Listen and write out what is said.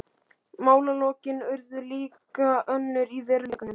Málalokin urðu líka önnur í veruleikanum.